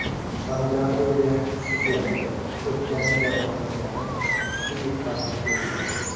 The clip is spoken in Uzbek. Tomografiyaga tushishyapti, o‘pkaning jarohatlangani, suv yiqqanini ko‘rishyapti.